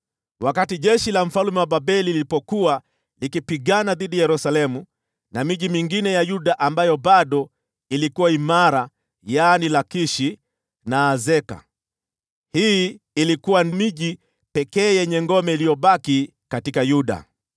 wakati jeshi la mfalme wa Babeli lilipokuwa likipigana dhidi ya Yerusalemu na miji mingine ya Yuda ambayo bado ilikuwa imara, yaani Lakishi na Azeka. Hii ilikuwa miji pekee yenye ngome iliyobaki katika Yuda.